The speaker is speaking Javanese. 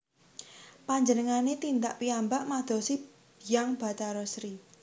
Panjenengane tindak piyambak madosi Hyang Bathari Sri